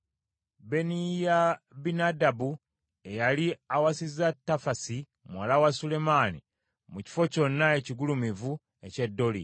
Beniyabinadabu eyali awasizza Tafasi muwala wa Sulemaani, mu kifo kyonna ekigulumivu eky’e Doli;